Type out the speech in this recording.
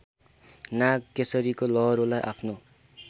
नागकेशरीको लहरोलाई आफ्नो